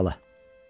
Keç bala.